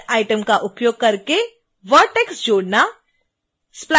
insert item का उपयोग करके एक vertex जोड़ना